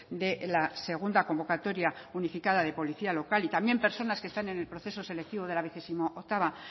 de la segunda convocatoria unificada de policía local y también personas que están en el proceso selectivo de la vigesimooctava